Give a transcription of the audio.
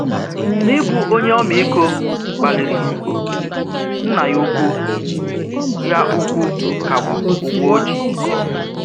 N’íbù ònyé omiiko kpalírì, nnà yà ùkwù yà ùkwù kàgbùrù ụ̀gwọ̀ ọ jì.